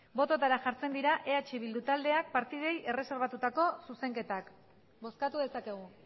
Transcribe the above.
botoetara jartzen dira eh bildu taldeak partidei erreserbatutako zuzenketak bozkatu dezakegu